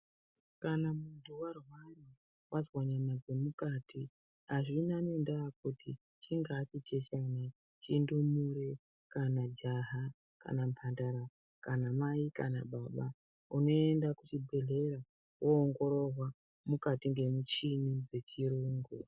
Kana mundu warwara wazwa nyama dzemukati hazvina nendaa kuti ingava chiini indumure kana jaha kana mbandara kana mai kana baba unoenda kuchibhedhlera woongororwa mukati nemuchini dzechirungu.